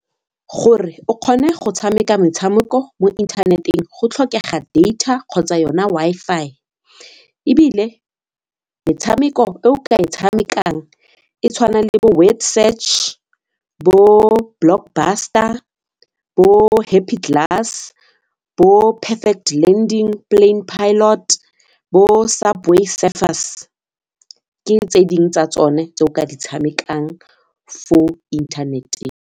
Gore o kgone go tshameka metshameko mo internet-eng go tlhokega data kgotsa yona Wi-Fi ebile metshameko e o ka e tshamekang e tshwanang le bo word search, bo blockbuster, bo Happy Glass, bo perfect landing plane pilot, bo Subway Surfers ke tse dingwe tsa tsone tse o ka di tshamekang fo internet-eng.